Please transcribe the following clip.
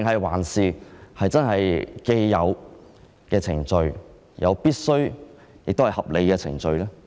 還是符合既有程序，亦是必須和合理的程序？